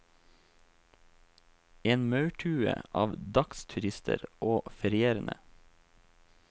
En maurtue av dagsturister og ferierende.